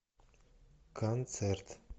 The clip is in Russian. концерт